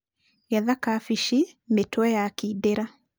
Getha kabeci mĩtwe yakindĩra.